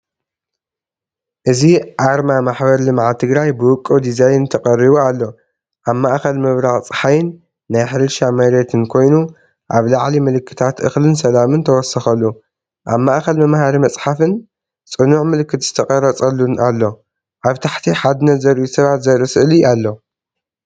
እዚ ኣርማ ማሕበር ልምዓት ትግራይ ብውቁብ ዲዛይን ተቐሪቡ ኣሎ። ኣብ ማእከል ምብራቕ ጸሓይን ናይ ሕርሻ መሬትን ኮይኑ፡ኣብ ላዕሊ ምልክታት እኽልን ሰላምን ተወሰኸሉ። ኣብ ማእኸል መምሃሪ መፅሓፍን ፅኑዕ ምልክት ዝተቐርፀሉን ኣሎ። ኣብ ታሕቲ ሓድነት ዘርእዩ ሰባት ዘርኢ ስእሊ ኣሎ።